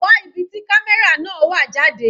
Wá ibi tí camera náà wà jáde.